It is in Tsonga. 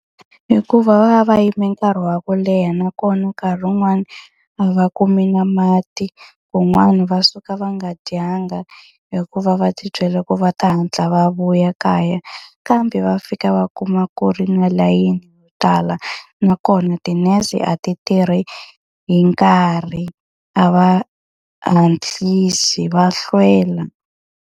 Hikuva va va yime nkarhi wa ku leha nakona nkarhi wun'wani, a va kumi na mati, kun'wani va suka va nga dyanga hikuva va tibyele ku va ta hatla va vuya kaya. Kambe va fika va kuma ku ri na layini yo tala nakona tinese a ti tirhi hi nkarhi. A va hatlisi, va hlwela.